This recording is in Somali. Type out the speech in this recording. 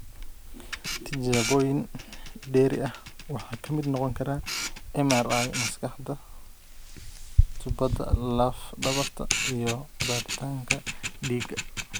Tijaabooyin dheeri ah waxaa ka mid noqon kara MRI maskaxda, tubbada laf dhabarta iyo baaritaanka dhiigga.